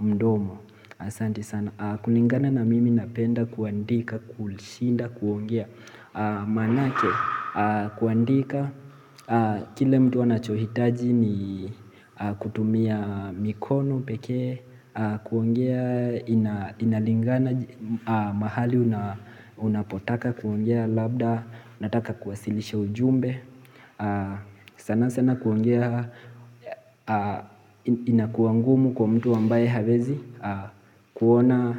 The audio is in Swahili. mdomo. Asante sana, kulingana na mimi napenda kuandika, kushinda kuongea maanake, kuandika Kile mtu anachohitaji ni kutumia mikono pekee, kuongea ina inalingana mahali unapotaka, kuongea labda, nataka kuwasilisha ujumbe sana sana kuongea inakuwa ngumu kwa mtu ambaye hawezi kuona.